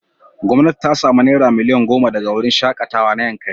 Gwamnati ta sami naira miliyan goma daga wurin shaƙatawa na Yankari.